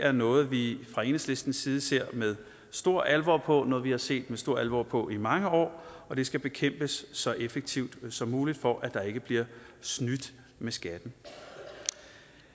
er noget vi fra enhedslistens side ser med stor alvor på og noget vi har set med stor alvor på i mange år og det skal bekæmpes så effektivt som muligt for at der ikke bliver snydt med skatten